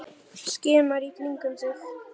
Skimar í kringum sig.